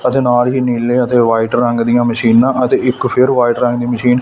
ਅਤੇ ਨਾਲ ਹੀ ਨੀਲੇ ਅਤੇ ਵ੍ਹਾਈਟ ਰੰਗ ਦੀਯਾਂ ਮਸ਼ੀਨਾਂ ਅਤੇ ਇੱਕ ਫੇਰ ਵ੍ਹਾਈਟ ਰੰਗ ਦੀ ਮਸ਼ੀਨ ।